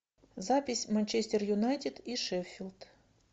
запись манчестер юнайтед и шеффилд